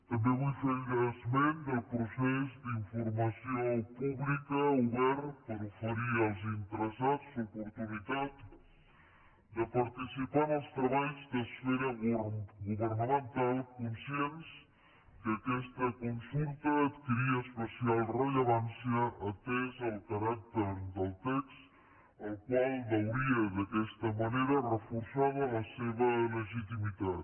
també vull fer esment del procés d’informació pública obert per oferir als interessats l’oportunitat de participar en els treballs d’esfera governamental conscients que aquesta consulta adquiria especial rellevància atès el caràcter del text el qual veuria d’aquesta manera reforçada la seva legitimitat